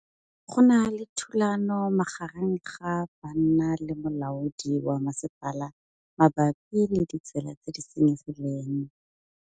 Go na le thulanô magareng ga banna le molaodi wa masepala mabapi le ditsela tse di senyegileng.